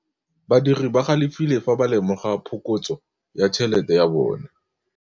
Badiri ba galefile fa ba lemoga phokotsô ya tšhelête ya bone.